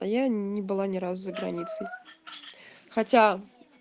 а я не было ни разу за границей хотя